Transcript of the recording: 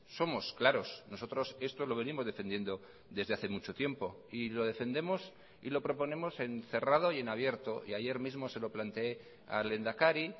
somos claros nosotros esto lo venimos defendiendo desde hace mucho tiempo y lo defendemos y lo proponemos en cerrado y en abierto y ayer mismo se lo plantee al lehendakari